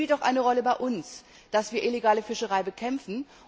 Es spielt auch eine Rolle bei uns, dass wir illegale Fischerei bekämpfen.